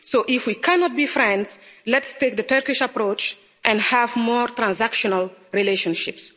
So, if we cannot be friends, let's take the Turkish approach and have more transactional relationships.